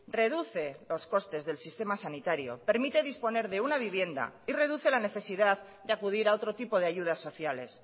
reduce los costes del sistema sanitario permite disponer de una vivienda y reduce la necesidad de acudir a otro tipo de ayudas sociales